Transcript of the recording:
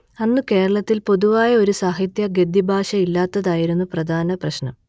അന്ന് കേരളത്തിൽ പൊതുവായ ഒരു സാഹിത്യ ഗദ്യഭാഷ ഇല്ലാത്തതായിരുന്നു പ്രധാന പ്രശ്നം